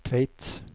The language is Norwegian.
Tveit